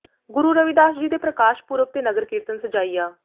ਗੁਰੂ ਰਵਿਦਾਸ ਜੀ ਦੇ ਪ੍ਰਕਾਸ਼ ਪੁਰਬ ਤੇ ਨਗਰ ਕੀਰਤਨ ਸਜਾਇਆ